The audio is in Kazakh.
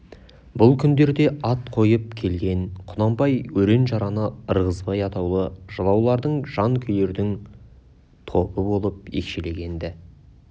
бұл күндерде ат қойып келген құнанбай өрен-жараны ырғызбай атаулы жылаулардың жан күйерлердің тобы болып екшелген-ді